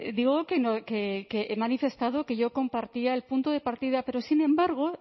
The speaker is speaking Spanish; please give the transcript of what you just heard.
digo que he manifestado que yo compartía el punto de partida pero sin embargo